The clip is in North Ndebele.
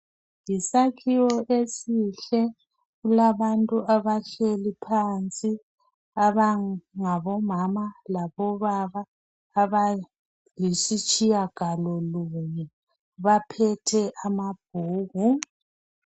Yisakhiwo esihle kulabantu abahleli phansi abangomama labobaba abayisitshiya galolunye baphethe amabhuku.